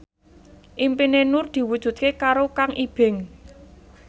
impine Nur diwujudke karo Kang Ibing